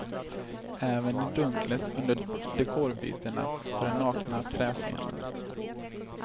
Även i dunklet under dekorbytena på den nakna träscenen.